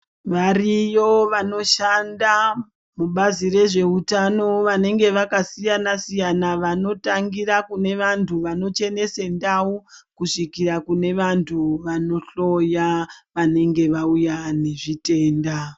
Variyo vanoshanda mubazi rezveutano vanenge vakasiyana siyana vanotangira kune vantu vanochenese ndau kusvikira kune vantu vanohloya vanenge vauya nezvitenda